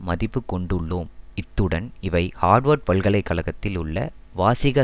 மதிப்பு கொண்டுள்ளோம் இத்துடன் இவை ஹார்வர்ட் பல்கலை கழகத்தில் உள்ள வாசிக